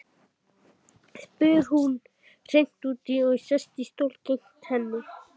spyr hún hreint út og sest í stól gegnt henni.